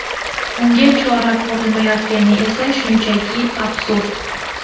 Unga chora ko‘rilmayotgani esa shunchaki absurd.